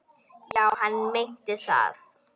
Já, hann meinti það.